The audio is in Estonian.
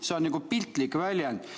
See on piltlik väljend.